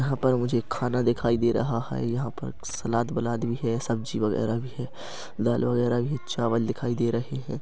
यहाँ पर मुझे खाना दिखाई दे रहा है यहाँ पर सलाद वलाद भी है सब्जी वगैरह भी है दाल वगैरह भी चावल दिखाई दे रहै है।